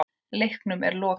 Leiknum er lokið.